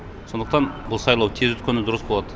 сондықтан бұл сайлау тез өткені дұрыс болады